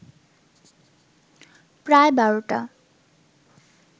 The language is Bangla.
প্রায় বারোটা